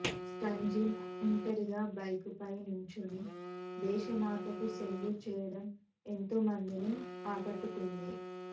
స్టాంజిన్ ఒంటరిగా బైకుపై నుంచుని దేశమాతకు సెల్యూట్ చేయడం ఎంతోమందిని ఆకట్టుకుంది